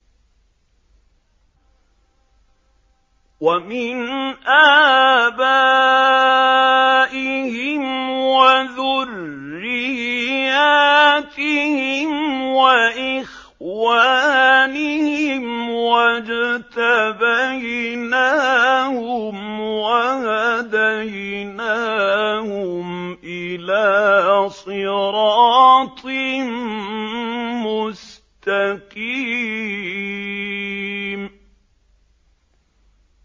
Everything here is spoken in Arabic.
وَمِنْ آبَائِهِمْ وَذُرِّيَّاتِهِمْ وَإِخْوَانِهِمْ ۖ وَاجْتَبَيْنَاهُمْ وَهَدَيْنَاهُمْ إِلَىٰ صِرَاطٍ مُّسْتَقِيمٍ